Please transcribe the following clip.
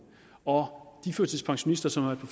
og de førtidspensionister som har